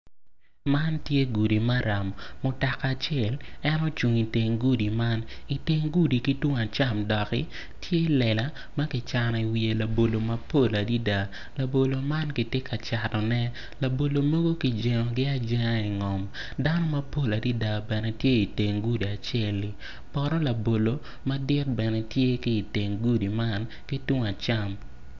Man tye gudi maram, mutoka acel tye ma ocung i teng gudi man i teng gudi ki tung acam doki tye lela ma kicano iye labolo mapol adada labolo man kitye ka catone labolo man kijengogi ajenga i ngom dano mapol adada bene gitye i teng gudi aceli.